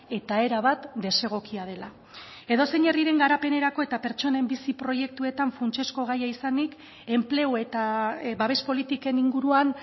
eta erabat desegokia dela edozein herriren garapenerako eta pertsonen bizi proiektuetan funtsezko gaia izanik enplegu eta babes politiken inguruan